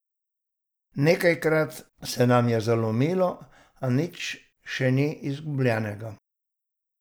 Nekajkrat se nam je zalomilo, a nič še ni izgubljenega.